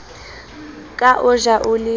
ka o ja o le